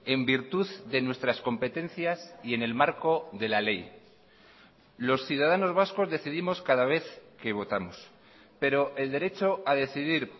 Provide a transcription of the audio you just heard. en virtud de nuestras competencias y en el marco de la ley los ciudadanos vascos decidimos cada vez que votamos pero el derecho a decidir